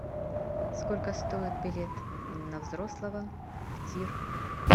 сколько стоит билет на взрослого в тир